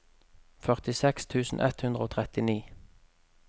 førtiseks tusen ett hundre og trettini